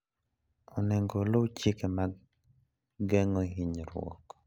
Onego oluw chike mag geng'o hinyruok.